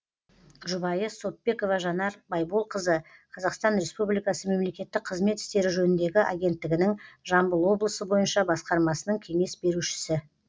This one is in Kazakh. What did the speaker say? жұбайы соппекова жанар байболқызы қазақстан республикасы мемлекеттік қызмет істері жөніндегі агенттігінің жамбыл облысы бойынша басқармасының кеңес берушісі